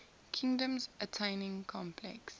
kingdoms attaining complex